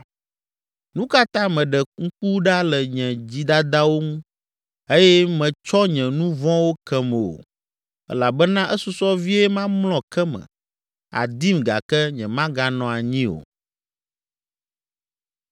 Nu ka ta mèɖe ŋku ɖa le nye dzidadawo ŋu eye mètsɔ nye nu vɔ̃wo kem o? Elabena esusɔ vie mamlɔ ke me, àdim gake nyemaganɔ anyii o.”